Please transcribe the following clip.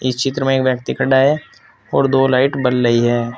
इस चित्र में एक व्यक्ति खड़ा है और दो लाइट जल रही है।